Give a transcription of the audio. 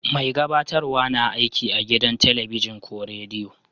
Mai gabatarwa na aiki a gidan telibijin ko rediyo.